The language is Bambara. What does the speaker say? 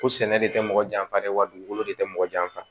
Ko sɛnɛ de tɛ mɔgɔ janfa dɛ wa dugukolo de tɛ mɔgɔ janfa